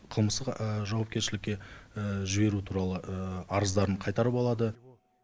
қылмыстық жауапкершілікке жіберу туралы арыздарын қайтарып алады